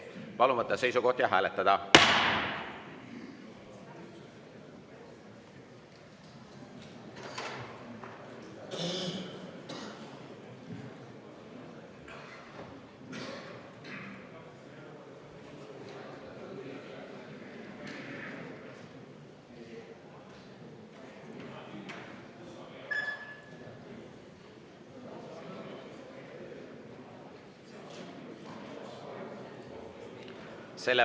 Palun võtta seisukoht ja hääletada!